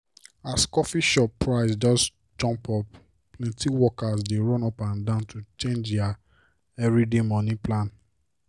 as coffee shop price just jump up plenty workers dey run up and down to change dia everyday money plan.